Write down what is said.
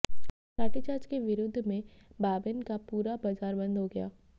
लाठीचार्ज के विरोध में बाबैन का पुरा बाजार बंद हो गया